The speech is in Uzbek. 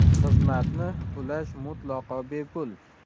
Xizmatni ulash mutlaqo bepul.